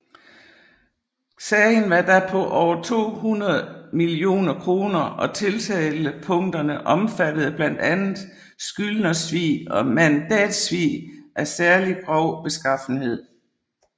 Sagen var da på over 200 millioner kroner og tiltalepunkterne omfattede blandt andet skyldnersvig og mandatsvig af særlig grov beskaffenhed